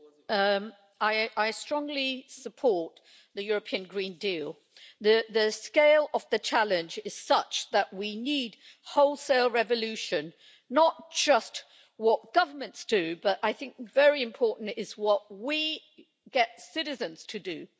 Madam President, I strongly support the European Green Deal. The scale of the challenge is such that we need wholesale revolution, not just in what governments do, but it is also very important what we get citizens to do.